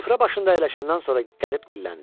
Süfrə başında əyləşəndən sonra qərib dilləndi.